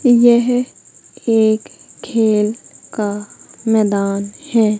यह एक खेल का मैदान है।